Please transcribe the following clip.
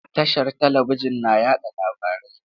Tashar talabijin na yaɗa labarai.